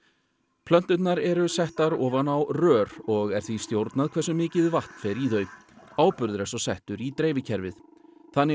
plönturnar eru settar ofan á rör og er því stjórnað hversu mikið vatn fer í þau áburður er svo settur í dreifikerfið þannig er